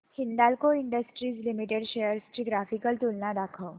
Hindalco industries limited shares ची graphical तुलना दाखव